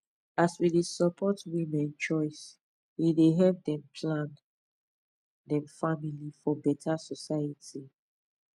as we dey support women choice e dey help dem plan dem family for beta society